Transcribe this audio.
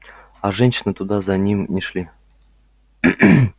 а женщины туда за ним не шли